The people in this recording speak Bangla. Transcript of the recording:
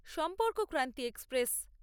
সম্পর্কক্রান্তি এক্সপ্রেস